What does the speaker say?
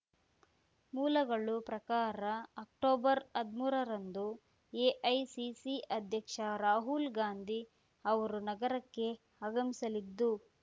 ಮೂಲಗಳು ಪ್ರಕಾರ ಅಕ್ಟೊಬರ್ಹದ್ಮೂರರಂದು ಎಐಸಿಸಿ ಅಧ್ಯಕ್ಷ ರಾಹುಲ್‌ ಗಾಂಧಿ ಅವರು ನಗರಕ್ಕೆ ಆಗಮಿಸಲಿದ್ದು